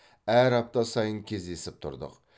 әр апта сайын кездесіп тұрдық